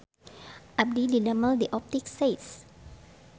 Abdi didamel di Optik Seis